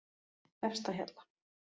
Efstahjalla